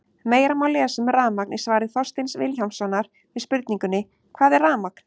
Meira má lesa um rafmagn í svari Þorsteins Vilhjálmssonar við spurningunni Hvað er rafmagn?